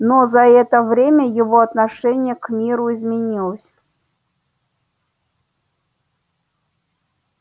но за это время его отношение к миру изменилось